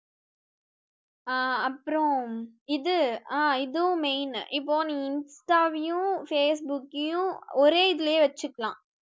அஹ் அப்பறம் இது அஹ் இதுவும் main இப்போ நீங்க insta வையும் facebook கையும் ஒரே இதுலயே வச்சுக்கலாம்